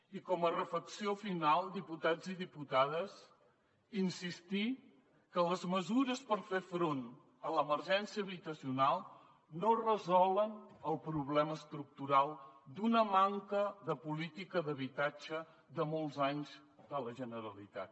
i com a reflexió final diputats i diputades insistir que les mesures per fer front a l’emergència habitacional no resolen el problema estructural d’una manca de política d’habitatge de molts anys de la generalitat